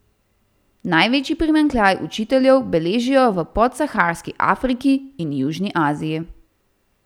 Največji primanjkljaj učiteljev beležijo v podsaharski Afriki in južni Aziji.